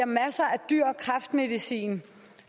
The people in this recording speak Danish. masser af dyr kræftmedicin